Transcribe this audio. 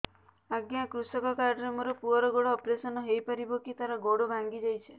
ଅଜ୍ଞା କୃଷକ କାର୍ଡ ରେ ମୋର ପୁଅର ଗୋଡ ଅପେରସନ ହୋଇପାରିବ କି ତାର ଗୋଡ ଭାଙ୍ଗି ଯାଇଛ